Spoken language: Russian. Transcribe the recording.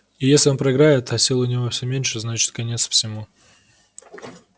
и если он проиграет а сил у него всё меньше значит конец всему